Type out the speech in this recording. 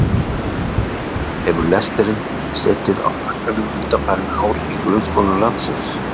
Sölvi: Hefur lesturinn setið á hakanum undanfarin ár í grunnskólum landsins?